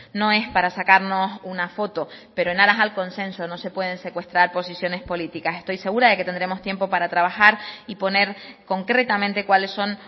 no es para sacarnos una foto pero en aras al consenso no se pueden secuestrar posiciones políticas estoy segura de que tendremos tiempo para trabajar y poner concretamente cuáles son